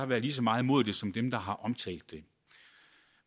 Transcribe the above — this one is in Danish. været lige så meget imod det som dem der har omtalt det